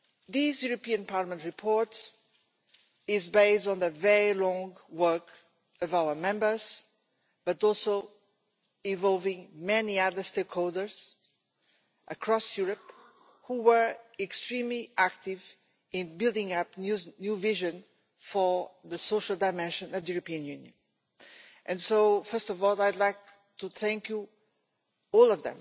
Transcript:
This European Parliament report is based on very long work by our Members, and also involving many other stakeholders across Europe who were extremely active in building up a new vision for the social dimension of the European Union. So first of all I would like to thank all of